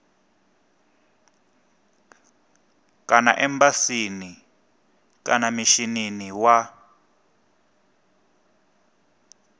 kana embasini kana mishinini wa